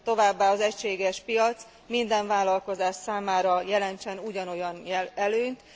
Továbbá az egységes piac minden vállalkozás számára jelentsen ugyanolyan előnyt.